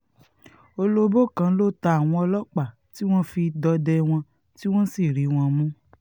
olobó kan ló ta àwọn ọlọ́pàá tí wọ́n fi dọdẹ wọn tí wọ́n sì rí wọn mú